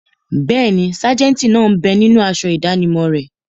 Bẹ́ẹ̀ni, sájẹ̀ntì náà bẹ ninú aṣọ ìdánimọ̀ rẹ̀